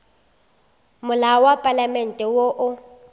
molao wa palamente wo o